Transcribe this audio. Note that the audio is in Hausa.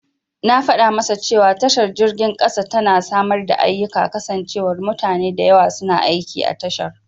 Na fada masa cewa tashar jirgin kasa tana samar da ayyika kasancewar mutane da yawa suna aiki a tashar.